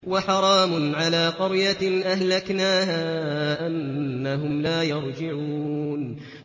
وَحَرَامٌ عَلَىٰ قَرْيَةٍ أَهْلَكْنَاهَا أَنَّهُمْ لَا يَرْجِعُونَ